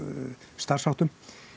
starfsháttum